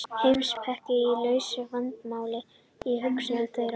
heimspekin er lausn vandamála í hugum þeirra